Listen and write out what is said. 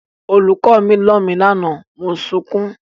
Olùkọ́ mi nà mí lánàá mo sunkún.